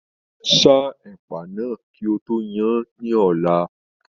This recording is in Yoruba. Sa ẹ̀pà náà kí o tó yan án ní ọ̀la.